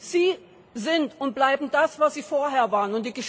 Sie sind und bleiben das, was Sie vorher waren.